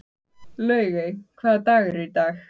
Laugey, hvaða dagur er í dag?